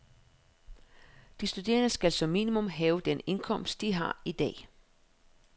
De studerende skal som minimum have den indkomst, de har i dag.